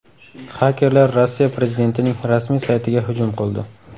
Xakerlar Rossiya prezidentining rasmiy saytiga hujum qildi.